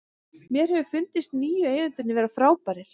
Mér hefur fundist nýju eigendurnir vera frábærir.